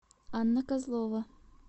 анна козлова